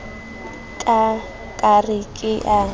nka ka re ke a